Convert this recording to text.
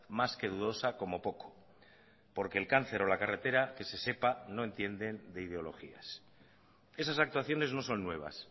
más que dudosa como poco porque el cáncer o la carretera que se sepa no entienden de ideologías esas actuaciones no son nuevas